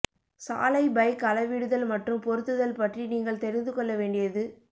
சாலை பைக் அளவிடுதல் மற்றும் பொருத்துதல் பற்றி நீங்கள் தெரிந்து கொள்ள வேண்டியது